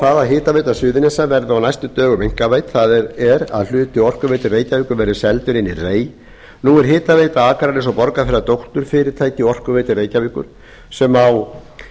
það að hitaveita suðurnesja verði á næstu dögum einkavædd það er að hluti orkuveitu reykjavíkur verði seldur inn í rei nú er hitaveita akraness og borgarfjarðar dótturfyrirtæki orkuveitu reykjavíkur sem á